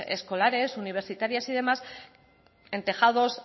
escolares universitarias y demás en tejados